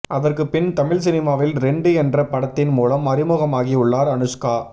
அதற்குப்பின் தமிழ் சினிமாவில் ரெண்டு என்ற படத்தின் மூலம் அறிமுகமாகி உள்ளார் அனுஷ்கா